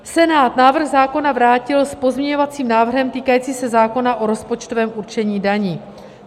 Senát návrh zákona vrátil s pozměňovacím návrhem týkajícím se zákona o rozpočtovém určení daní.